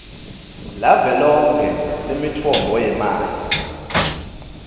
lavelonkhe lemitfombo yemanti